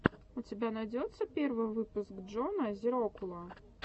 у тебя найдется первый выпуск джона зирокула